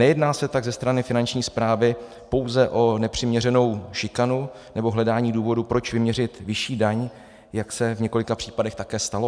Nejedná se tak ze strany Finanční správy pouze o nepřiměřenou šikanu nebo hledání důvodu, proč vyměřit vyšší daň, jak se v několika případech také stalo?